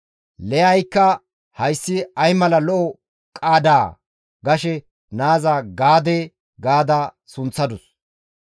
Liyaykka, «Hayssi ay mala lo7o qaadaa!» gashe naaza Gaade gaada sunththadus.